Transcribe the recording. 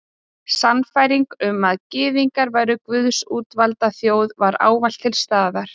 Sannfæringin um að Gyðingar væru Guðs útvalda þjóð var ávallt til staðar.